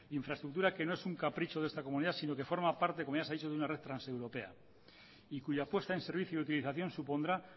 infraestructura que no es un capricho de esta comunidad sino que forma parte como ya se ha dicho de una red transeuropea y cuya apuesta en servicio y utilización supondrá